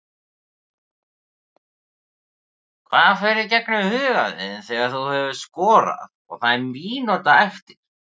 Hvað fer í gegnum huga þinn þegar þú hefur skorað og það er mínúta eftir?